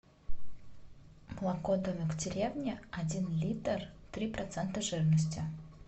молоко домик в деревне один литр три процента жирности